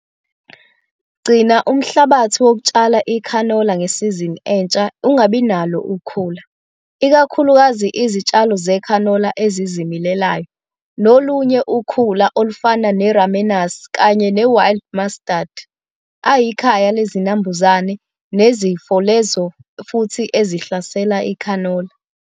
Gcina umhlabathi wokutshala ikhanola ngesizini entsha ungabi nalo ukhula, ikakhulukazi izitshalo zekhanola ezizimilelayo nolunye ukhula, olufana ne-ramenas kanye ne-wild mustard, ayikhaya lezinambuzane nezifo lezo futhi ezihlasela ikhanola.